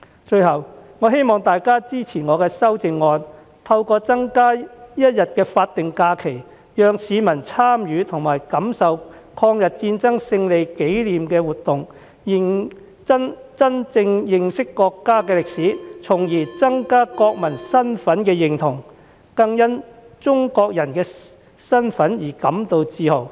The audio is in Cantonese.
最後，我希望大家支持我的修正案，透過增加一天法定假期，讓市民參與和感受抗日戰爭勝利的紀念活動，真正認識國家的歷史，從而增加國民身份認同，更因為中國人的身份而感自豪。